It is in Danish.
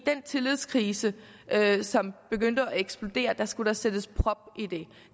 den tillidskrise som begyndte at eksplodere skulle der sættes prop